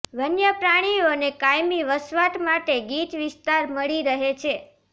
વન્યપ્રાણીઓને કાયમી વસવાટ માટે ગીચ વિસ્તાર મળી રહે છે